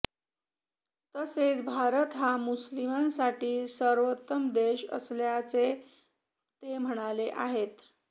तसेच भारत हा मुस्लिमांसाठी सर्वोत्तम देश असल्याचे ते म्हणाले आहेत